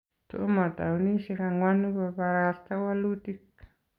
Tomo towunishek angwanu kobarasta walutik